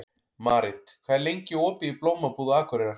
Marit, hvað er lengi opið í Blómabúð Akureyrar?